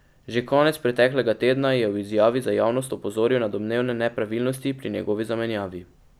Že konec preteklega tedna je v izjavi za javnost opozoril na domnevne nepravilnosti pri njegovi zamenjavi.